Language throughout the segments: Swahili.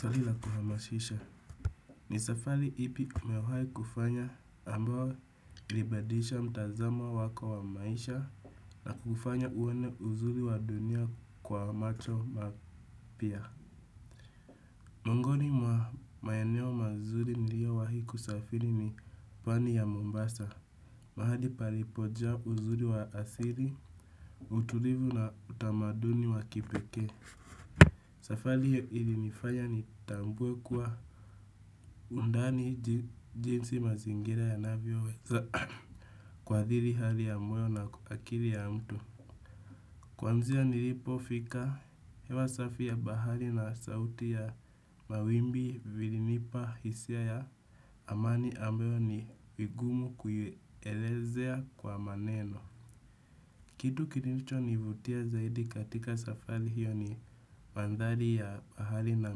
Swali la kuhamashisha. Ni safari ipi umewahi kufanya ambayo ilibadisha mtazamo wako wa maisha na kufanya uone uzuri wa dunia kwa macho mapya? Muongoni mwa maeneo mazuri niliyowahi kusafiri ni pwani ya mombasa. Mahali palipojaa uzuri wa asiri, utulivu na utamaduni wa kipekee. Safali hiyo ilinifanya nitambue kwa undani jinsi mazingira yanavyoweza kuadhiri hali ya moyo na akili ya mtu. Kwanzia nilipofika, hewa safi ya bahari na sauti ya mawimbi vilinipa hisia ya amani ambayo ni vigumu kuielezea kwa maneno. Kitu kinilichonivutia zaidi katika safari hiyo ni mandhari ya bahari na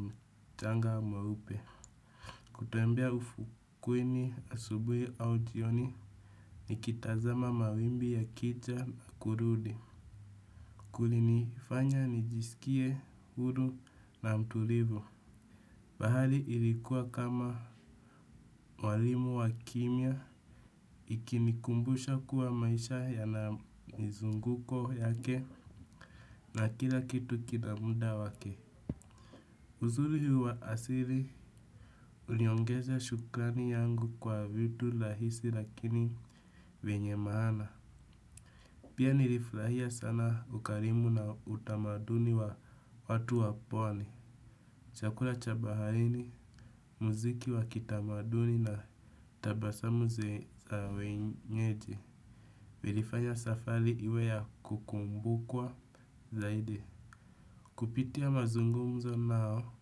mchanga mweupe. Kutoembea ufukweni asubuhi au jioni nikitazama mawimbi yakija na kurudi. Kulinifanya nijisikie huru na mtulivu. Bahari ilikuwa kama mwalimu wa kimya ikinikumbusha kuwa maisha yana mizunguko yake na kila kitu kina mda wake. Uzuri huo wa asili uliongeza shukrani yangu kwa vitu lahisi lakini venye maana. Pia nilifurahia sana ukarimu na utamaduni wa watu wa pwani. Chakula cha baharini, mziki wa kitamaduni na tabasamu za wenyeji. Vilifanya safari iwe ya kukumbukwa zaidi. Kupitia mazungumzo nao,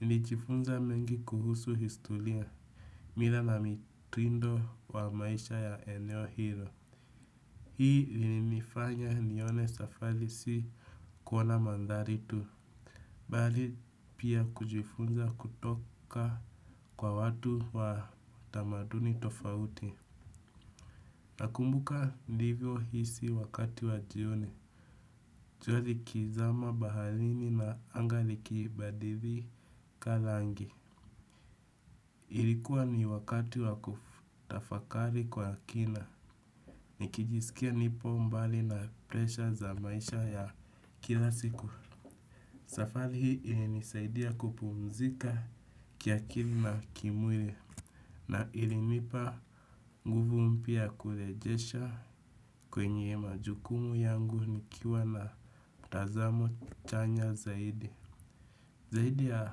nilijifunza mengi kuhusu historia, mila na mitindo wa maisha ya eneo hilo. Hii linifanya nione safari si kuona mandhari tu, bali pia kujifunza kutoka kwa watu wa tamaduni tofauti. Nakumbuka nilivyohisi wakati wa jioni, jua likizama baharini na anga likibadilika rangi. Ilikuwa ni wakati wa kutafakari kwa kina, nikijisikia nipo mbali na presha za maisha ya kila siku. Safari hii ilinisaidia kupumzika kiakili na kimwili na ilinipa nguvu mpya ya kurejesha kwenye majukumu yangu nikiwa na tazamo chanya zaidi. Zaidi ya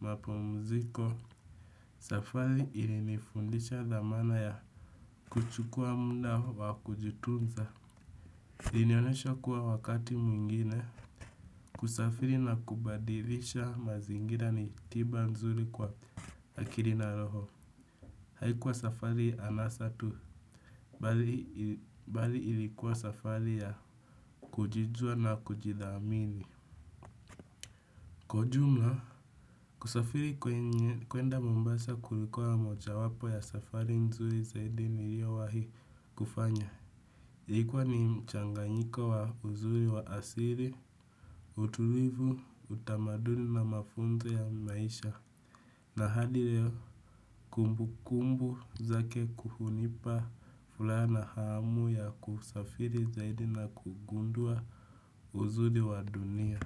mapumziko, safari ilinifundisha thamana ya kuchukua mda wa kujitunza. Ilinionyesha kuwa wakati mwingine, kusafiri na kubadilisha mazingira ni tiba nzuri kwa akiri na roho. Haikuwa safari anasa tu, bali ilikuwa safari ya kujijua na kujithamini kwa ujumla kusafiri kuenda Mombasa kulikuwa mojawapo ya safari nzuri zaidi niliyowahi kufanya kwani mchanganyika wa uzuri wa asili, utulivu, utamaduni na mafunzo ya maisha. Na hadi leo kumbukumbu zake kuhunipa furaha na hamu ya kusafiri zaidi na kugundua uzuri wa dunia.